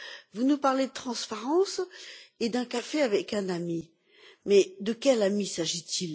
Vous nous parlez de transparence et d'un café avec un ami, mais de quel ami s'agit il?